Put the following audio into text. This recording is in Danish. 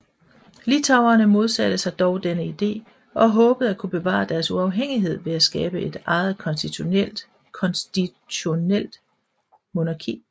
Litauerne modsatte sig dog denne idé og håbede at kunne bevare deres uafhængighed ved at skabe et eget konstitutionelt monarki